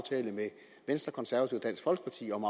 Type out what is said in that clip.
dansk folkeparti om